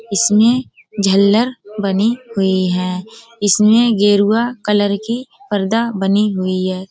इसमें झल्लर बनी हुई हैं। इसमें गेरुआ कलर की पर्दा बनी हुई है।